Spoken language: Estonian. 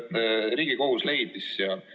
Lugupeetud Riigikogu liikmed!